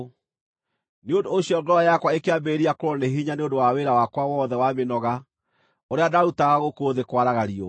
Nĩ ũndũ ũcio ngoro yakwa ĩkĩambĩrĩria kũũrwo nĩ hinya nĩ ũndũ wa wĩra wakwa wothe wa mĩnoga ũrĩa ndaarutaga gũkũ thĩ kwaraga riũa.